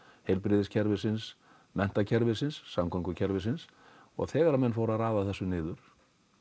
heilbrigðiskerfisins menntakerfisins samgöngukerfisins og þegar menn fóru að raða þessu niður